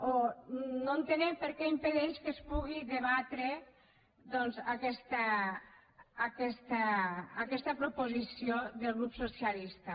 o no entenem per què impedeixen que es pugui debatre aquesta proposició del grup socialista